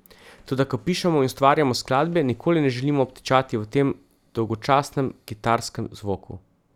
Toda ko pišemo in ustvarjamo skladbe, nikoli ne želimo obtičati v tem dolgočasnem kitarskem zvoku.